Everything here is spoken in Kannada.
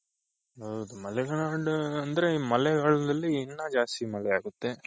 ಹೌದು ಮಲೆನಾಡು ಅಂದ್ರೆ ಮಳೆಗಾಲ್ದಲ್ಲಿ ಇನ್ನ ಜಾಸ್ತಿ ಮಳೆ ಆಗುತ್ತೆ.